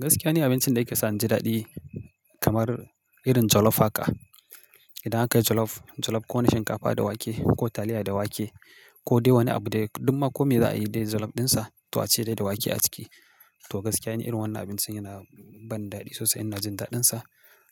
Gaskiya ni abincin da yake sa in ji daɗi kamar irin jollof haka. Idan aka yi jollof, jollof ko na shinkafa da wake ko taliya da wake ko dai wani abu dai duk ma ko me za a yi dai jollof ɗinsa, to a ce dai da wake a ciki. To gaskiya ni irin wannan abincin yana bani daɗi sosai, ina jin daɗinsa,